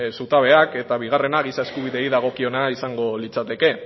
zutabeak eta bigarrena giza eskubideei dagokiona izango litzateke